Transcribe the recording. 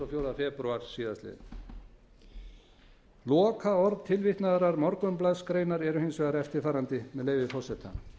fjórða febrúar síðastliðinn lokaorð tilvitnaðrar morgunblaðsgreinar eru hins vegar eftirfarandi með leyfi forseta